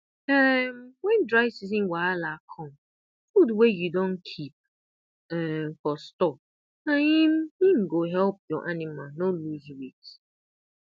um wen dry season wahala come food wey you don keep um for store na im im go help your anima no lose weight